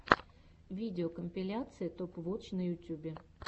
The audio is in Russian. видеокомпиляция топ вотч на ютьюбе